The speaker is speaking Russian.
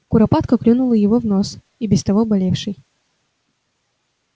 куропатка клюнула его в нос и без того болевший